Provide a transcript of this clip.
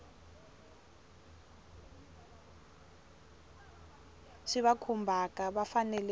swi va khumbhaka va fanele